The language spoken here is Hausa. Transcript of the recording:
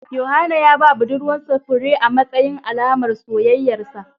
Yohana ya ba budurwar sa fure amatsayin Alaman soyayyar sa